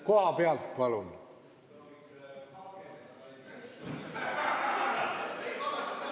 Kohalt, palun!